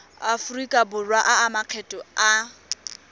aforika borwa a makgetho a